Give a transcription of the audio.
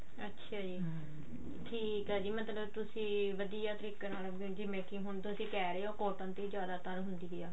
ਅੱਛਿਆ ਜੀ ਠੀਕ ਆ ਜੀ ਮਤਲਬ ਤੁਸੀਂ ਵਧੀਆ ਤਰੀਕੇ ਨਾਲ making ਹੁਣ ਤੁਸੀਂ ਕਿਹ ਰਹੇ ਹੋ cotton ਦੀ ਜਿਆਦਾਤਰ ਹੁੰਦੀ ਆ